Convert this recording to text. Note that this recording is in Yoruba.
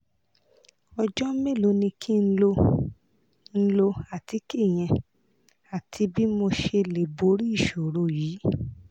ọjọ́ mélòó ni kí n lo n lo àtíkè yẹn àti bí mo ṣe lè borí ìṣòro yìí?